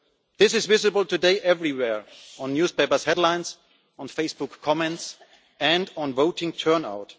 This is visible everywhere today in newspaper headlines, in Facebook comments and in voting turnout.